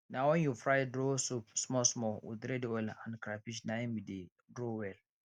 na wen you fry draw soup small small with red oil and crayfish na im e dey draw well